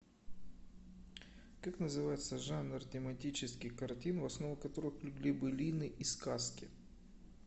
как называется жанр тематических картин в основу которых легли былины и сказки